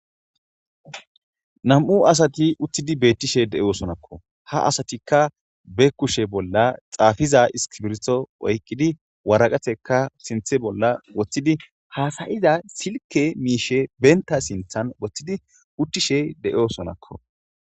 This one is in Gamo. nam7u asati uttidi beettishe de7osonakko ha asatikka be kushe bolla xaafiza iskibirto oyqqidi waraqateka sinthe bolla woththidi haasayiza silke miishe benta sinthan woththidi uttishe de7o sonakko